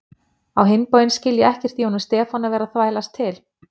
Á hinn bóginn skil ég ekkert í honum Stefáni að vera að þvælast til